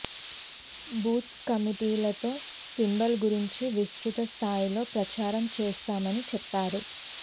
booth కమిటీలతో symbol గురించి విస్తృత స్థాయిలో ప్రచారం చేస్తామని చెప్పారు